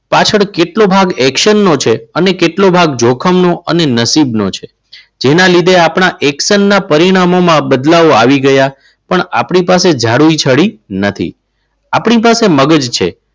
પાછળ કેટલો ભાગ action નો છે અને કેટલો ભાગ જોખમનો અને નસીબનો છે. જેના લીધે આપણા એક્સનના પરિણામોમાં બદલાવ આવી ગયા. પણ આપણી પાસે જાદુઈ ચડી નથી. આપણી પાસે મગજ છે.